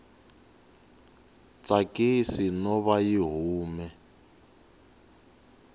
tsakisi no va yi hume